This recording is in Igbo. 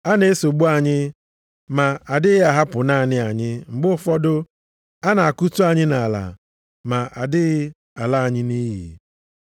A na-esogbu anyị, ma adịghị ahapụ naanị anyị; mgbe ụfọdụ, a na-akụtu anyị nʼala ma adịghị ala anyị nʼiyi.